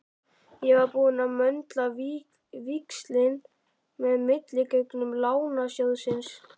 Ég var búinn að möndla víxil með milligöngu Lánasjóðsins.